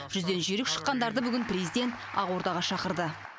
жүзден жүйрік шыққандарды бүгін президент ақордаға шақырды